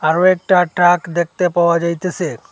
আরো একটা ট্রাক দেখতে পাওয়া যাইতেসে।